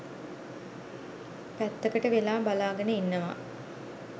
පැත්තකට වෙලා බලාගෙන ඉන්නවා.